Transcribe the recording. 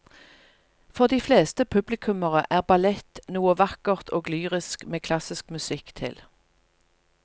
For de fleste publikummere er ballett noe vakkert og lyrisk med klassisk musikk til.